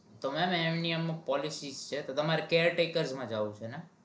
તો mem અમુક policy છે તો તમારે caretaker માં જાઉં છે ને.